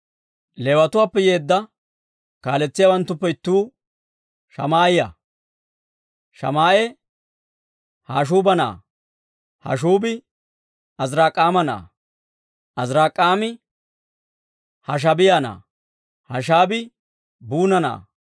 Leewatuwaappe yeedda kaaletsiyaawanttuppe ittuu Shamaa'iyaa; Shamaa'e Hashshuuba na'aa; Hashshuubi Azirik'aama na'aa; Azirik'aami Hashaabiyaa na'aa; Hashaabii Buuna na'aa.